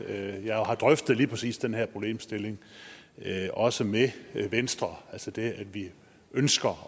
at jeg har drøftet lige præcis den her problemstilling også med venstre altså det at vi ønsker